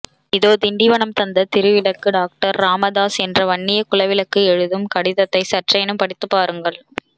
இதோ திண்டிவனம் தந்த திருவிளக்கு டாக்டர் ராமதாஸ் என்ற வன்னிய குலவிளக்கு எழுதும் கடிதத்தை சற்றேனும் படித்து பாருங்கள்